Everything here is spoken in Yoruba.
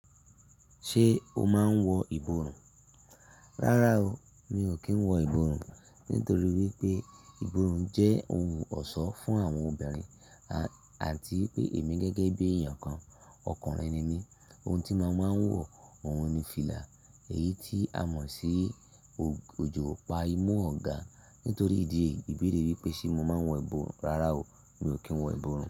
Ṣé o máa ń wọ ìborùn? Rárá o, mi ò kí ń wọ ìborùn nítorí wípé ìborùn jẹ́ ohun ọ̀ṣọ́ fún àwọn obìnrin àti wipé èmi gẹ́gẹ́ bí èèyàn kan, ọkùnrin ni mí. Ohun tí mo máa ń wọ, òhun ni fìlà èyí tí a mọ̀ sí òjò o pa imú ọ̀gá. Nítorí ìdí èyí, ìbéèrè wípé ṣé mo máa ń wọ ìborùn, rárá o, mi ò kí ń wọ ìborùn.